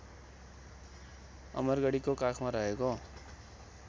अमरगढीको काखमा रहेको